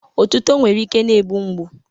Otuto nwere ike na-egbu mgbu.